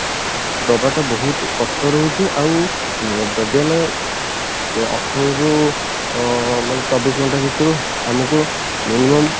ଦବାଟା ବହୁତ କଷ୍ଟ ରହୁଛି ଆଉ ଯଦି ଆମେ ଅଠରରୁ ଅ ମାନେ ଚବିଶ ଘଣ୍ଟା ଭିତରୁ ଆମକୁ minimum